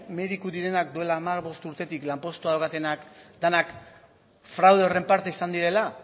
mediku direnak duela hamar edo bost urtetik lanpostuak daukatenak denak fraude horren parte izan direla